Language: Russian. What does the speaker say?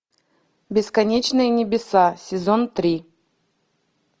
бесконечные небеса сезон три